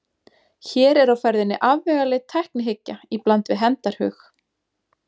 Hér er á ferðinni afvegaleidd tæknihyggja í bland við hefndarhug.